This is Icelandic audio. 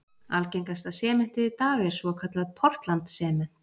Algengasta sementið í dag er svokallað portland sement.